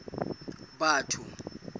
batho